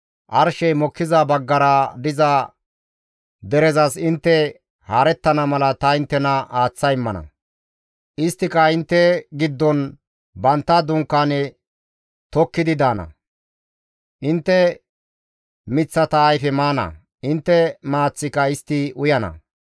arshey mokkiza baggara diza derezas intte haarettana mala ta inttena aaththa immana. Isttika intte giddon bantta dunkaane tokkidi daana; intte miththata ayfe maana; intte maaththika istti uyana.